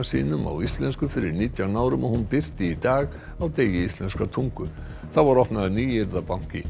sínum á íslensku fyrir nítján árum og hún birti í dag á degi íslenskrar tungu þá var opnaður